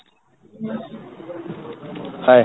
hye